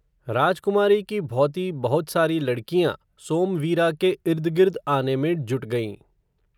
राजकुमारी की भॉति बहुत सारी लड़कियाँ, सोमवीरा के इर्दगिर्द आने में जुट गयीं